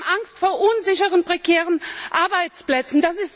Sie haben Angst vor unsicheren, prekären Arbeitsplätzen.